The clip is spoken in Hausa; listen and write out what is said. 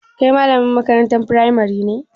Kai malamin makarantar firamari ne?